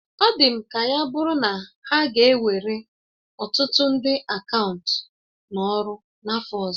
Ọ dị m ka ya bụrụ na ha ga ewere ọtụtụ ndị akaụntụ n'ọrụ n'afọ ọzọ